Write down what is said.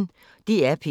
DR P1